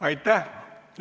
Aitäh!